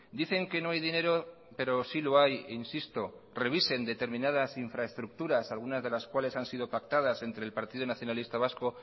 dicen que no hay dinero pero sí lo hay insisto revisen determinadas infraestructuras algunas de las cuales han sido pactadas entre el partido nacionalista vasco